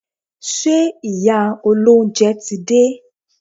Ṣé ìyá olóúnjẹ ti dé?